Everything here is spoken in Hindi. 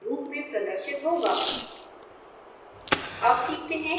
आउटपुट इस रूप में प्रदर्शित होगा